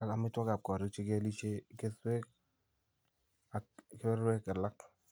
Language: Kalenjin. ak amitwogikap kooriik , che kialisye , kesweek , ak kebeberwek alak .